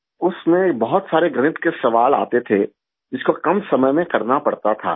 اس میں بہت سارے ریاضی کے سوال آتے تھے، جس کو کم وقت میں کرنا پڑتا تھا